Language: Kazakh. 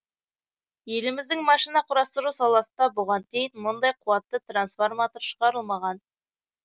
еліміздің машина құрастыру саласында бұған дейін мұндай қуатты трансформатор шығарылмаған